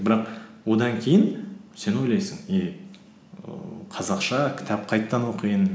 бірақ одан кейін сен ойлайсың е ііі қазақша кітап қайтадан оқиын